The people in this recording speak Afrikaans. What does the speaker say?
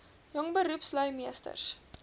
jong beroepslui meesters